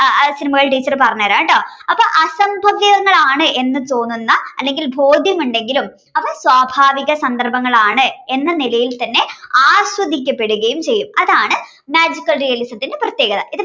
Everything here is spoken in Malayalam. സിനിമകൾ ടീച്ചർ പറഞ്ഞു തരാട്ടോ അപ്പ അസംഭവ്യങ്ങളാണ് എന്ന് എന്ന് തോന്നുന്ന അല്ലെങ്കിൽ ബോധ്യമുണ്ടെങ്കിലും അപ്പോ സ്വാഭാവിക സന്ദർഭങ്ങളാണ് എന്ന നിലയിൽ തന്നെ ആസ്വദിക്കപ്പെടുകയും ചെയ്യും അതാണ് magical realism ന്റെ പ്രത്യേകത